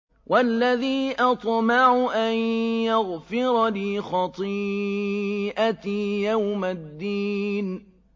وَالَّذِي أَطْمَعُ أَن يَغْفِرَ لِي خَطِيئَتِي يَوْمَ الدِّينِ